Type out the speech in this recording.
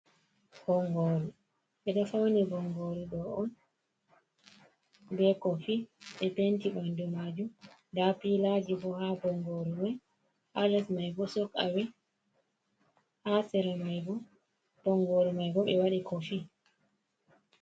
Bongoru, ɓe ɗo fauni bongoru ɗo on, be kofi. Ɓe penti ɓandu maajum. Nda pilaji bo ha bongoru mai. Ha les mai bo sok’awe. Ha sere mai bo, bongoru mai bo ɓe waɗi kofi.